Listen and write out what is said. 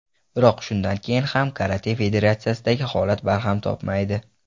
Biroq shundan keyin ham Karate federatsiyasidagi holat barham topmaydi.